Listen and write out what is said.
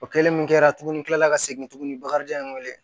O kɛlen min kɛra tuguni kila la ka segin tuguni bakarijan ye wele